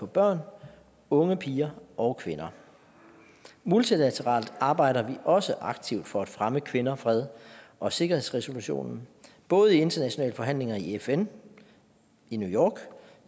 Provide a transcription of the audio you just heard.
børn unge piger og kvinder multilateralt arbejder vi også aktivt for at fremme kvinder fred og sikkerhedsresolutionen både i internationale forhandlinger i fn new york